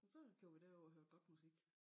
Så kørte vi derover og hørte godt musik